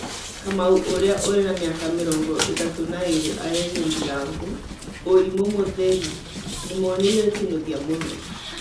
Kamau, ũria ũrĩ na mĩaka mĩrongo ĩtatũ na ĩrĩ, arerire ndirangu: "ũrimũ mũtheri, nĩmoneire kinuthia mũno